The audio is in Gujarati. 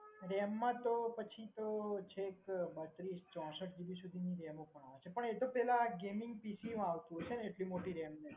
RAM માં પછી તો છેક બત્રીસ ચૌસઠ GB ram સુધી ની RAM હોય છે પણ એ તો પેહલા PC માં આવતું હોય છે એટલી મોટી RAM તો